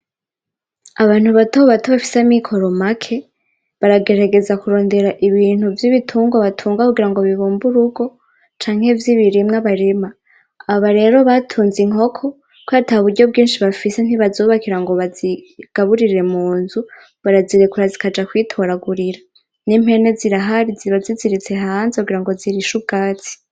Abantu bato bato bafise amikoro make baragerageza kurondera ibintu vy'ibitungwa batunga kugirango bibumbe urugo canke vy'ibirimwa barima. Aba rero batunze inkoko, kubera ata buryo bwinshi bafise ntibazubakira ngo bazigaburirire mu nzu, barazirekura zikaja kwitoragurira. N'impene zirahari ziba ziziritse hanze kugira zirishe ubwatsi.